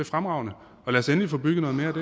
fremragende lad os endelig få bygget noget mere